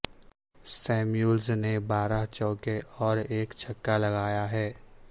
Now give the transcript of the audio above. Samuels نے بارہ چوکے اور ایک چھکا لگایا ہے